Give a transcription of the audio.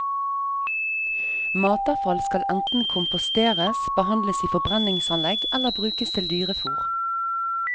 Matavfall skal enten komposteres, behandles i forbrenningsanlegg eller brukes til dyrefôr.